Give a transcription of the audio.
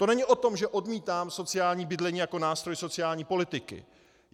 To není o tom, že odmítám sociální bydlení jako nástroj sociální politiky.